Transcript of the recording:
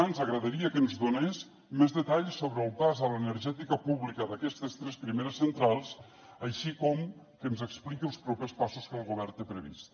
ens agradaria que ens donés més detalls sobre el pas a l’energètica pública d’aquestes tres primeres centrals així com que ens expliqui els propers passos que el govern té previstos